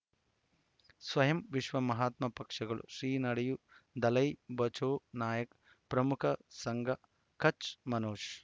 ಸ್ವಯಂ ವಿಶ್ವ ಮಹಾತ್ಮ ಪಕ್ಷಗಳು ಶ್ರೀ ನಡೆಯೂ ದಲೈ ಬಚೌ ನಾಯಕ್ ಪ್ರಮುಖ ಸಂಘ ಕಚ್ ಮನೋಜ್